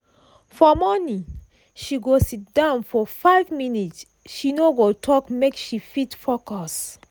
for morning she go sit down for 5 minnutes she no go talk make she fit focus.